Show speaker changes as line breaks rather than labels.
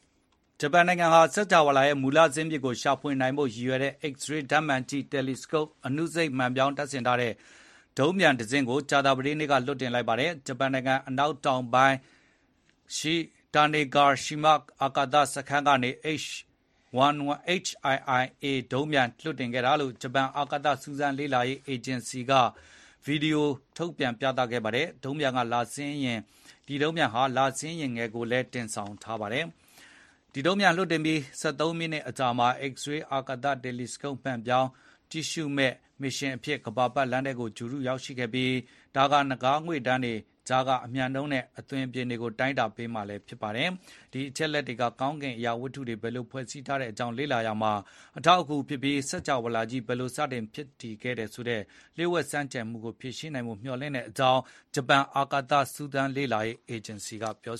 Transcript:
ဂျပန်နိုင်ငံဟာ စကြာဝဠာရဲ့မူလဇာစ်မြစ်ကို ရှာဖွေနိုင်ဖို့ရည်ရွယ်တဲ့ X-ray ဓာတ်မှန်ကြည့် တယ်လီစကုပ် အနုစိတ်မှန်ပြောင်းတပ်ဆင်ထားတဲ့ ဒုံးပျံတစင်းကို ကြာသပတေးနေ့က လွှတ်တင်လိုက်ပါတယ်။ ဂျပန်နိုင်ငံအနောက်တောင်ပိုင်းရှိ တာနေဂါ့ရှိမ အာကာက စခန်းကနေ HII-A ဒုံးပျံ လွှတ်တင်ခဲ့တာကို ဂျပန် အာကာသစူးစမ်းလေ့လာရေးအေဂျင်စီက တိုက်ရိုက်ဗီဒီယို ထုတ်လွှင့် ပြသခဲ့ပါတယ်။ ဒုံးပျံက လဆင်းယာဉ်ငယ်ကိုလည်း တင်ဆောင်ထားပါတယ်။ ဂျပန်ဒုံးပျံဟာ လွှတ်တင်ပြီး ဆယ့်သုံးမိနစ်အကြာမှာ X-ray အာကာသ တယ်လီစကုပ်ဓာတ်မှန် မှန်ပြောင်းကြည့်ရှုမယ့်မစ်ရှင်အဖြစ် ကမ္ဘာပတ်လမ်းထဲကို ဂြိုလ်တုရောက်ရှိခဲ့ပြီး ဒါက နဂါးငွေ့တန်းတွေကြားက အမြန်နှုန်းနဲ့အသွင်အပြင်တွေကို တိုင်းတာပေးမှာ ဖြစ်ပါတယ်။ ဒီအချက်အလက်တွေက ကောင်းကင်အရာဝတ္ထုတွေ ဘယ်လိုဖွဲ့စည်းထားကြောင်း လေ့လာရာမှာ အထောက်အကူဖြစ်ပြီး စကြဝဠာကြီး ဘယ်လို စတင် ဖြစ်တည်ခဲ့လဲဆိုတဲ့ လျှို့ဝှက်ဆန်းကြယ်မှုကို ဖြေရှင်းနိုင်ဖို့ မျှော်လင့်ကြောင်း ဂျပန် အာကာသစူးစမ်းလေ့လာရေး အေဂျင်စီက ပြော